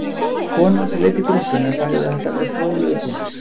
Konan sem leiddi grúppuna sagði að þetta væri fróðlegur punktur